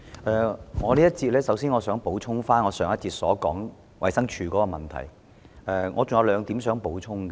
主席，在這一節，我想就上一節有關衞生署問題的發言作兩點補充。